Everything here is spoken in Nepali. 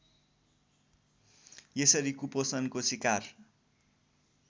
यसरी कुपोषणको सिकार